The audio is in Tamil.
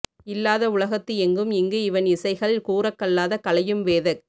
இல்லாத உலகத்து எங்கும் இங்கு இவன் இசைகள் கூரக்கல்லாத கலையும் வேதக்